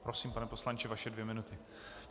Prosím, pane poslanče, vaše dvě minuty.